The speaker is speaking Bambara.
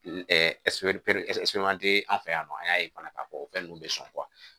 an fɛ yan nɔ an y'a ye fana k'a fɔ o fɛn nunnu bɛ sɔn